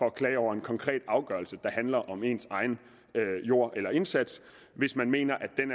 at klage over en konkret afgørelse der handler om ens egen jord eller indsats hvis man mener